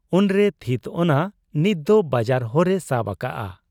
ᱩᱱᱨᱮᱭ ᱛᱷᱤᱛ ᱚᱱᱟ ᱱᱤᱛ ᱫᱚ ᱵᱟᱡᱟᱨ ᱦᱚᱨ ᱮ ᱥᱟᱵ ᱟᱠᱟᱜ ᱟ ᱾